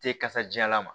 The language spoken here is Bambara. Te kasa jalan ma